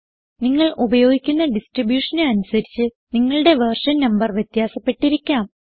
നിങ്ങൾ ഉപയോഗിക്കുന്ന distributionന് അനുസരിച്ച് നിങ്ങളുടെ വെർഷൻ നംബർ വ്യത്യാസപ്പെട്ടിരിക്കാം